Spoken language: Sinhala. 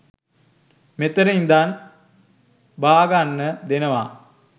මෙතන ඉඳන් බාගන්න දෙනවා